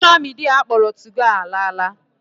Sosha midia akpọrọ 2go ala ala.